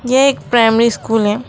ये एक primary school हैं।